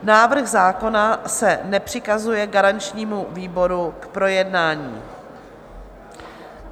Návrh zákona se nepřikazuje garančnímu výboru k projednání.